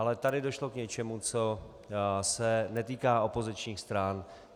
Ale tady došlo k něčemu, co se netýká opozičních stran.